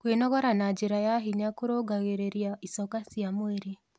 Kwĩnogora na njĩra ya hinya kũrũngagĩrĩrĩa ĩchoka cia mwĩrĩ